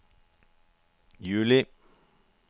juli